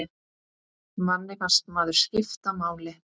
Manni fannst maður skipta máli.